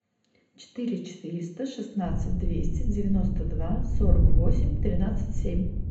четыре четыреста шестнадцать двести девяносто два сорок восемь тринадцать семь